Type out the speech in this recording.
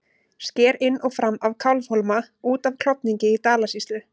Sker inn og fram af Kálfhólma út af Klofningi í Dalasýslu.